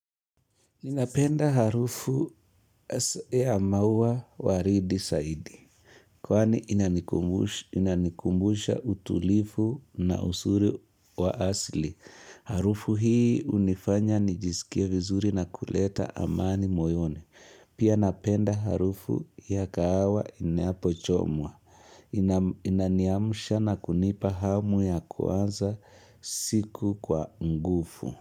Ninapenda harufu ya maua waridi saidi. Kwani inanikumbusha utulifu na usuri wa asli. Harufu hii unifanya nijisikie vizuri na kuleta amani moyone. Pia napenda harufu ya kahawa inapochomwa. Inaniamsha na kunipa hamu ya kuanza siku kwa ngufu.